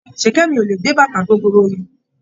Ṣìkẹ́mi ò lè gbé bàtà gogoro yẹn.